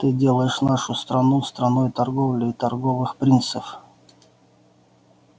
ты делаешь нашу страну страной торговли и торговых принцев